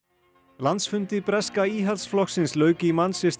landsfundi breska Íhaldsflokksins lauk í